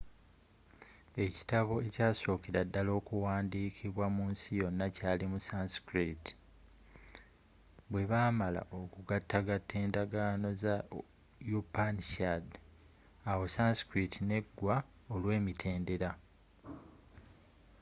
ekitabo ekyasookera ddala okuwandiikibwa munsi yonna kyali mu sanskrit bwebaamala okugatagata endagaano za upanishad awo sanskrit n'eggwa olw'emitendera